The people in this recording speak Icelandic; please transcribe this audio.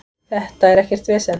Þetta er ekkert vesen.